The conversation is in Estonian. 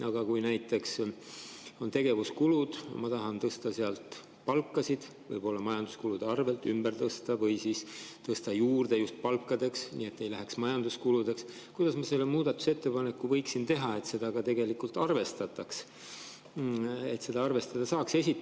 Aga kui näiteks on tegevuskulud, ma tahan tõsta palkasid, võib-olla majanduskulude arvelt raha ümber tõsta just palkadeks, nii et see ei läheks majanduskulude alla, kuidas ma selle muudatusettepaneku võiksin teha, et seda ka tegelikult arvestataks, et seda arvestada saaks?